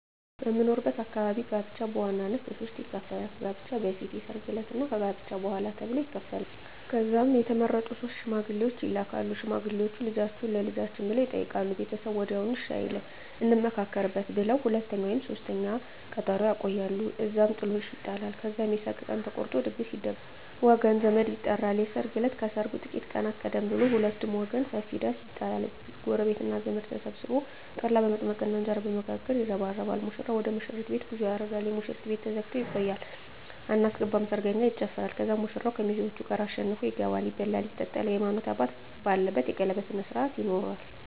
በምኖርበት አካባቢ ጋብቻ በዋናነት በሦስት ይከፈላል። ከጋብቻ በፊት፣ የሰርግ ዕለት እና ከጋብቻ በኋላ ተብሎ ይከፈላል። ከዛም የተመረጡ ሶስት ሽማግሌዎች ይላካሉ። ሽማግሌዎቹ "ልጃችሁን ለልጃችን" ብለው ይጠይቃሉ። ቤተሰብ ወዲያውኑ እሺ አይልም፤ "እንመካከርበት" ብለው ለሁለተኛ ወይም ለሦስተኛ ቀጠሮ ያቆያሉ። እዛም ጥሎሽ ይጣላል። ከዛም የሰርግ ቀን ተቆርጦ ድግስ ይደገሳል፣ ወገን ዘመድ ይጠራል። የሰርግ እለት ከሰርጉ ጥቂት ቀናት ቀደም ብሎ በሁለቱም ወገን ሰፊ ዳስ ይጣላል። ጎረቤትና ዘመድ ተሰብስቦ ጠላ በመጥመቅና እንጀራ በመጋገር ይረባረባል። ሙሽራው ወደ ሙሽሪት ቤት ጉዞ ያደርጋል። የሙሽሪት ቤት ተዘግቶ ይቆያል። አናስገባም ሰርገኛ ይጨፋራል። ከዛም ሙሽራው ከሚዜዎቹ ጋር አሸንፎ ይገባል። ይበላል ይጠጣል፣ የሀይማኖት አባት ባለበት የቀለበት ስነ ስሮአት ይሆናል